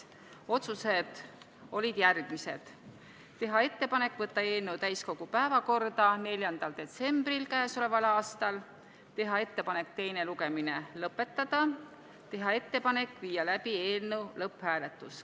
Otsused olid järgmised: teha ettepanek võtta eelnõu täiskogu päevakorda 4. detsembriks, teha ettepanek teine lugemine lõpetada, teha ettepanek viia läbi eelnõu lõpphääletus.